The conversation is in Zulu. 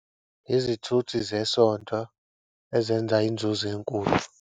Yizithuthi zesonto ezenza inzuzo enkulu.